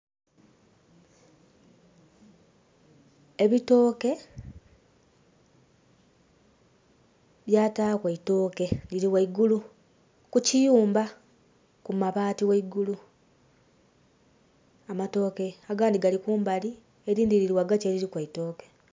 Ebitooke byataku eitoke liri gheigulu ku kiyumba ku mabaati gheigulu amatooke agandhi gali kumbali elindhi liri ghagati eliriku eitooke.